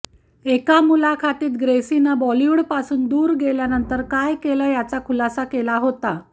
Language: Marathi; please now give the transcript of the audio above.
एका मुलाखतीत ग्रेसीनं बॉलिवूडपासून दूर गेल्यानंतर काय केलं यांचा खुलासा केला होता